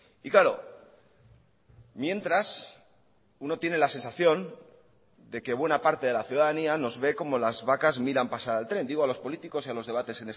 y claro mientras uno tiene la sensación de que buena parte de la ciudadanía nos ve como las vacas miran pasar al tren digo a los políticos y a los debates